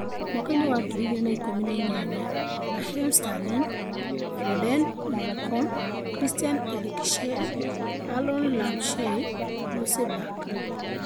mwaka wa ngiri igĩrĩ na ikũmi na inyanya:Raheem Sterling, Foden, Malcom, Christian Eriksen, Aaron Ramsey, Ross Barkley